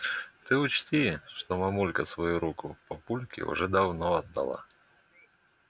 ты учти что мамулька свою руку папульке уже давно отдала